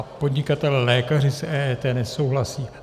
A podnikatelé lékaři s EET nesouhlasí.